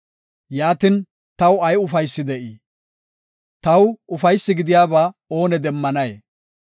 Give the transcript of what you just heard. Yaatin, taw ay ufaysi de7ii? taw ufaysi gidiyaba ooni demmanay?